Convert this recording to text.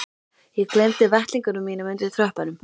Ég gleymdi vettlingunum mínum undir tröppunum.